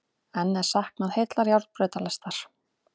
Enn er saknað heillar járnbrautalestar